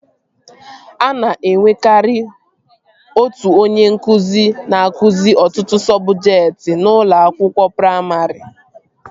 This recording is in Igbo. A na-enwekari otu onye nkụzi na-akụzi ọtụtụ sọbjektị n'ụlọ akwụkwọ praimarị